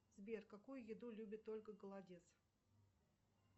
сбер какую еду любит ольга голодец